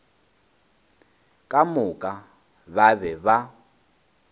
ka moka ba be ba